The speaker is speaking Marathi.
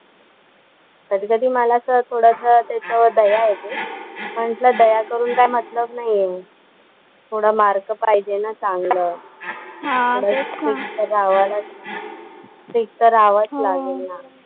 कधी कधी मलाच थोडंसं त्याच्या वर दया येते, म्हंटल दया करून काय मतलब नाही आहे. थोडं मार्क पायजेल ना चांगलं, थोडा स्ट्रिक्ट तर राहावंच, स्ट्रिक्ट तर राहावंच लागेल ना.